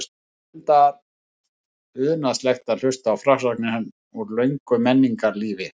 Það var unaðslegt að hlusta á frásagnir hans úr löngu menningarlífi.